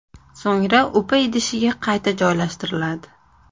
So‘ngra upa idishiga qayta joylashtiriladi.